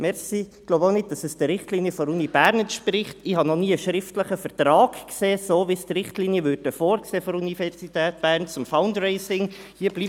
Ich habe noch nie einen schriftlichen Vertrag gesehen, so wie es die Richtlinien der Universität Bern zum Fundraising vorsehen würden.